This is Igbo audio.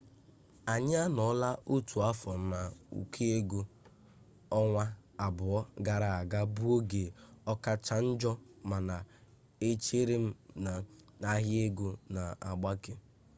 anyi anọọla otu afọ n'ụkọ ego ọnwa abụọ gara aga bụ oge ọkacha njo mana echerem na ahịa ego na-agbake